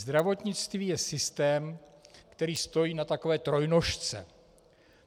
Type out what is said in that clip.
Zdravotnictví je systém, který stojí na takové trojnožce.